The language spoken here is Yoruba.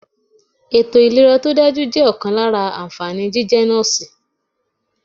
Ètò ìlera to dájú jẹ́ ọ̀kan lára ànfàní jíjẹ́ Nọ́ọ̀sì.